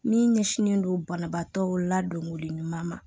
Min ɲɛsinnen don banabaatɔ ladonko ɲuman ma